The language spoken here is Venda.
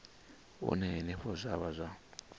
hune henefho zwa vha zwa